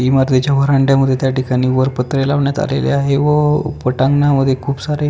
इमारतीच्या वर वह्यांड्या मध्ये त्या ठिकाणी वर पत्रे लावण्यात आलेले आहे व पटांगणा मधे खुप सारे --